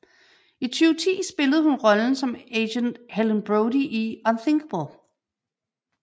I 2010 spillede hun rollen som agent Helen Brody i Unthinkable